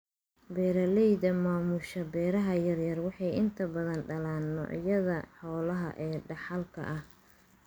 Beeralayda maamusha beeraha yar yar waxay inta badan dhalaan noocyada xoolaha ee dhaxalka ah.